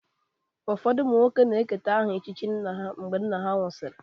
Ụfọdụ ụmụ nwoke na-eketa aha echichi nna ha mgbe nna ha nwụsịrị.